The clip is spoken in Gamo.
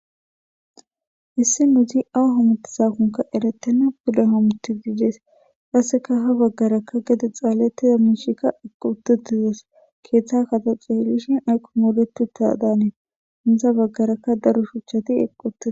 hissi nudzi awu homuti sakonka eretenna puda homutidiides qasseka ha baggarakka gede xaalettida miishikka equututizos keeththa kataxe helishin aykko mooletu ta daanee hindza baggarakka daro shuchati eqqute